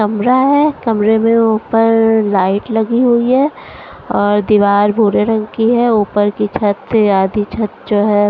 कमरा है कमरे में ऊपर लाइट लगी हुई हैं और दीवार भूरे रंग की है ऊपर की छत से आधी छत जो है --